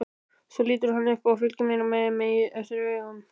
Svo lítur hann upp og fylgir mér eftir með augunum.